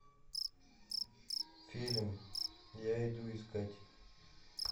фильм я иду искать